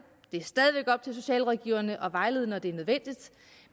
det socialrådgiverne at vejlede når det er nødvendigt